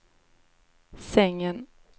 sängen